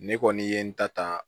Ne kɔni ye n ta ta